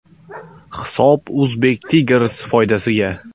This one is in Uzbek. Hisob Uzbek Tigers foydasiga.